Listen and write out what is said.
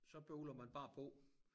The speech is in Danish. Så bøvler man bare på